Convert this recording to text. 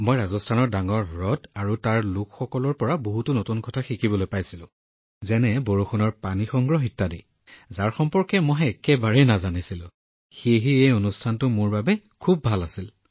মই ৰাজস্থানৰ ডাঙৰ হ্ৰদ আৰু তাত থকা লোকসকলৰ বিষয়ে বহুতো নতুন কথা শিকিব পাৰিছিলো আৰু বৰষুণৰ পানী সংগ্ৰহ কৰা যিবোৰ মই একেবাৰে নাজানিছিলো সেয়েহে এই ৰাজস্থান ভ্ৰমণ মোৰ বাবে খুব সুন্দৰ আছিল